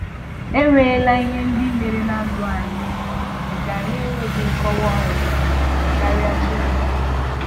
E nweela ihe ndị mere na ndụ anyị nke anyị enweghị nkọwa ọzọ karịa Chineke.